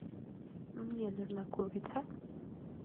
мне нужна курица